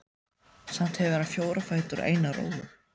Samt hefur hann fjóra fætur og eina rófu.